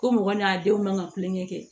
Ko mɔgɔ n'a denw man ka kulonkɛ kɛ